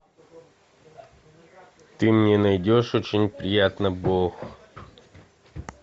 ты мне найдешь очень приятно бог